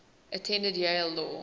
attended yale law